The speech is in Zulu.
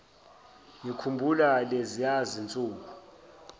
ngikhumbula leziya zinsuku